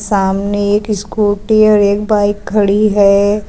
सामने एक स्कूटी और एक बाइक खड़ी है।